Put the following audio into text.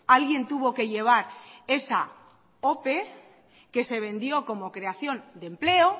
alguien tuvo que llevar esa ope que se vendió como creación de empleo